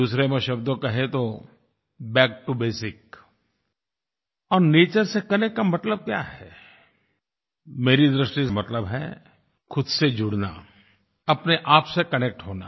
दूसरे शब्दों में कहें तो बैक टो बेसिक्स और नेचर से कनेक्ट का मतलब क्या है मेरी दृष्टि से मतलब है ख़ुद से जुड़ना अपने आप से कनेक्ट होना